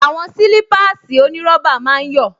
Àwọn sílípáàsì onírọ́bà máa ń yọ̀